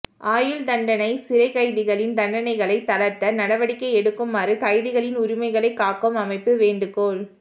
ஆயுள் தண்டனை சிறைக் கைதிகளின் தண்டனைகளை தளர்த்த நடவடிக்கை எடுக்குமாறு கைதிகளின் உரிமைகளை காக்கும் அமைப்பு வேண்டுகோள்